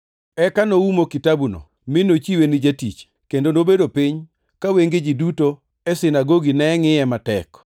Eka noumo kitabuno, mi nochiwe ni jatich, kendo nobedo piny ka wenge ji duto e sinagogi ne ngʼiye matek,